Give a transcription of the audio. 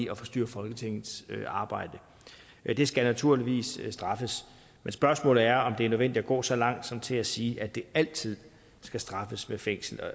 at forstyrre folketingets arbejde det skal naturligvis straffes men spørgsmålet er om det er nødvendigt at gå så langt som til at sige at det altid skal straffes med fængsel og